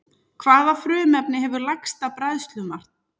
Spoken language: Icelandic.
Hvaða frumefni hefur lægsta bræðslumark?